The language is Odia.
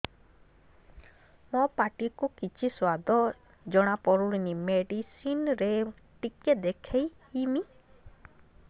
ମୋ ପାଟି କୁ କିଛି ସୁଆଦ ଜଣାପଡ଼ୁନି ମେଡିସିନ ରେ ଟିକେ ଦେଖେଇମି